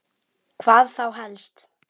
Hvað þá helst?